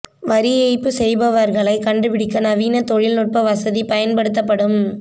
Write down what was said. வரி ஏய்ப்பு செய்பவர்களை கண்டுபிடிக்க நவீன தொழில் நுட்ப வசதி பயன்படுத்தப்படும்